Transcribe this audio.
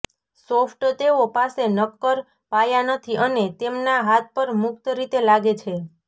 soft તેઓ પાસે નક્કર પાયા નથી અને તેમના હાથ પર મુક્ત રીતે લાગે છે